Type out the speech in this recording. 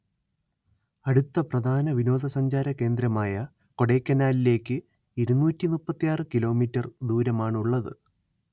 അടുത്ത പ്രധാന വിനോദസഞ്ചാരകേന്ദ്രമായ കൊടൈക്കനാലിലേക്ക് ഇരുന്നൂറ്റി മുപ്പത്തിയാറ് കി മീ ദൂരമാണ് ഉള്ളത്